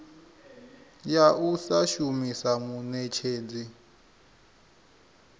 ya u sa shumisa muṋetshedzi